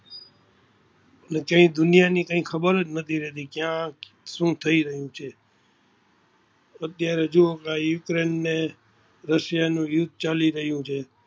કઈ દુનિયા ની ખબર જ નથી રહતી કયા શું થઈ રહિયું છે, અત્યારે જો ઓલા ઉકરૈન ને રશિયા નું યુદ્ધ ચાલી રહિયું છે.